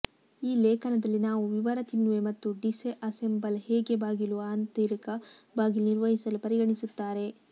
ಈ ಲೇಖನದಲ್ಲಿ ನಾವು ವಿವರ ತಿನ್ನುವೆ ಮತ್ತು ಡಿಸ್ಅಸೆಂಬಲ್ ಹೇಗೆ ಬಾಗಿಲು ಆಂತರಿಕ ಬಾಗಿಲು ನಿರ್ವಹಿಸಲು ಪರಿಗಣಿಸುತ್ತಾರೆ